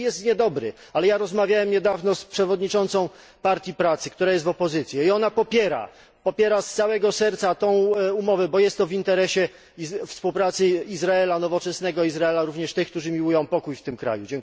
Może i jest niedobry, ale rozmawiałem niedawno z przewodniczącą Partii Pracy, która jest w opozycji, i ona popiera, popiera z całego serca tę umowę, bo jest ona w interesie współpracy nowoczesnego Izraela, Izraela również tych, którzy miłują pokój w tym kraju.